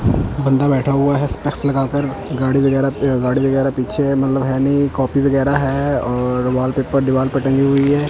बंदा बैठा हुआ है स्पेक्स लगाकर गाड़ी वगैरह अह गाड़ी वगैरह पीछे है मतलब है नहीं कॉपी वगैरह है और वॉलपेपर दीवार पर टंगी हुई है।